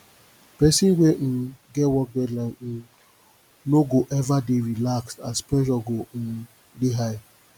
pesin wey um get work deadline um no go ever dey relaxed as pressure go um dey high